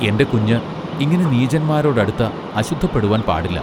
എന്റെ കുഞ്ഞ് ഇങ്ങനെ നീചന്മാരോടടുത്ത അശുദ്ധപ്പെടുവാൻ പാടില്ലാ.